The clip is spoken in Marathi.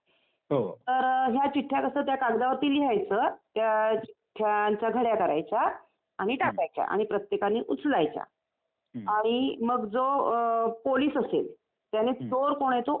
तर या चिठ्ठ्या कसं कागदावरती लिहायचं त्या चिठ्ठ्यांच्या घड्या करायच्या आणि टाकायच्या आणि प्रत्येकानी उचलायच्या आणि मग जो पोलीस असेल त्यांनी चोर कोण आहे तो ओळखायचा.